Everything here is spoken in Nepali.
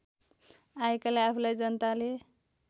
आएकाले आफूलाई जनताले